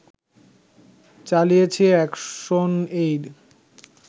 চালিয়েছে এ্যাকশনএইড